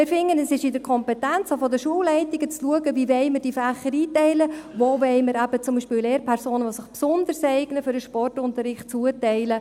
Wir finden, es sei in der Kompetenz der Schulleitungen, zu schauen, wie sie Fächer einteilen wollen, wo sie beispielsweise Lehrpersonen zuteilen wollen, die sich für den Sportunterricht besonders eignen.